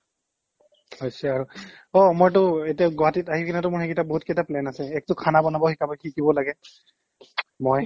হৈছে আৰু অ' মইঅতো এতিয়া গুৱাহাটীত আহিকিনেতো মোৰ সেইকিটা বহুতকিটা plan আছে একটো খানা বনাব শিকাব শিকিব লাগে মই